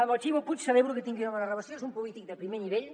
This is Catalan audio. amb el ximo puig celebro que tingui una bona relació és un polític de primer nivell